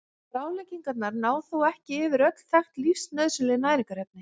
Ráðleggingarnar ná þó ekki yfir öll þekkt lífsnauðsynleg næringarefni.